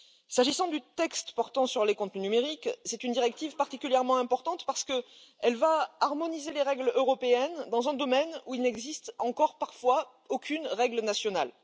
S'agissant du texte portant sur les contenus numériques, c'est une directive particulièrement importante parce qu'elle va harmoniser les règles européennes dans un domaine où, parfois, il n'existe encore aucune règle nationale.